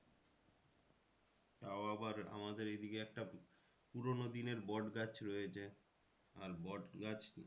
তাও আবার আমাদের এইদিকে একটা পুরোনো দিনের বট গাছ রয়েছে আর বট গাছ